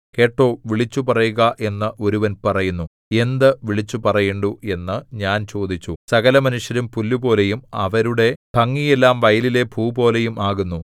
കേട്ടോ വിളിച്ചുപറയുക എന്ന് ഒരുവൻ പറയുന്നു എന്ത് വിളിച്ചുപറയേണ്ടു എന്നു ഞാൻ ചോദിച്ചു സകലമനുഷ്യരും പുല്ലുപോലെയും അവരുടെ ഭംഗിയെല്ലാം വയലിലെ പൂപോലെയും ആകുന്നു